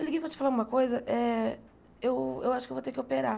Eu liguei para te falar uma coisa, é... Eu eu acho que eu vou ter que operar.